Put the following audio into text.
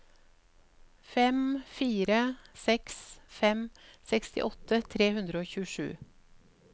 fem fire seks fem sekstiåtte tre hundre og tjuesju